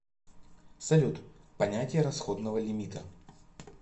салют понятие расходного лимита